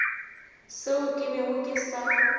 seo ke bego ke sa